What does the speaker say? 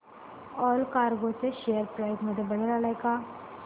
Allcargo share price मध्ये बदल आलाय का